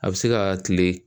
A bɛ se ka kile